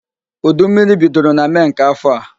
Udu mmiri bidoro na Mee nke afọ a